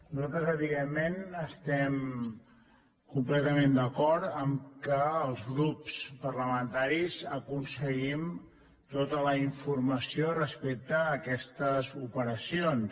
nosaltres evidentment estem completament d’acord que els grups parlamentaris aconseguim tota la informació respecte a aquestes operacions